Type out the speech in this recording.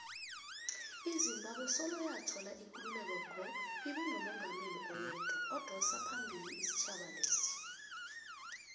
izimbabwe soloyathola ikululeko ngo ibenomungameli oyedwa odosaphambili isitjhaba lesa